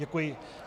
Děkuji.